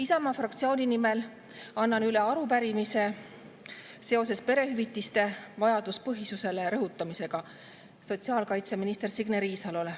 Isamaa fraktsiooni nimel annan üle arupärimise sotsiaalkaitseminister Signe Riisalole perehüvitiste vajaduspõhisuse kohta.